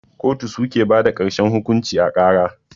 kotu suke bada karshen hukunci a kara.